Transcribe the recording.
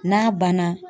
N'a banna